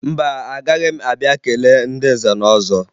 Mba, agaghị m abịa kelee ndị nze na ọzọ